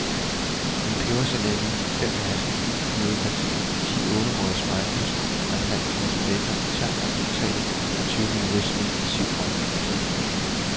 En pebersalami, fem hasselnøddepateer, ti ålerøgede spegepølser og en halv kasse bacon i tern er resultatet af tyve minutters intensiv øjengymnastik.